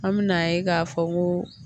An me na ye k'a fɔ ko